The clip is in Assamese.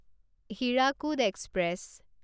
হীৰাকুদ এক্সপ্ৰেছ